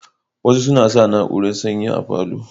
Wasu suna sa na urar sanyi a falo